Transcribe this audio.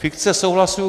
Fikce souhlasu.